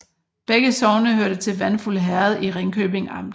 Begge sogne hørte til Vandfuld Herred i Ringkøbing Amt